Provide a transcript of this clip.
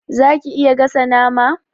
Zaka iya gasa nama?